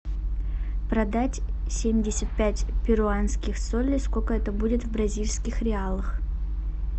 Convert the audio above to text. продать семьдесят пять перуанских солей сколько это будет в бразильских реалах